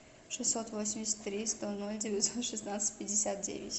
шестьсот восемьдесят три сто ноль девятьсот шестнадцать пятьдесят девять